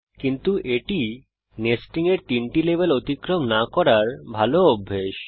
কিন্তু এটি নেস্টিং এর 3টি লেভেল অতিক্রম না করার ভাল অভ্যাস